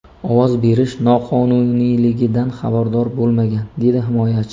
Ovoz berish noqonuniyligidan xabardor bo‘lmagan”, dedi himoyachi.